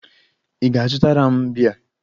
Ị ga-azụtara m bíá?